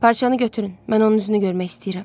Parçanı götürün, mən onun üzünü görmək istəyirəm.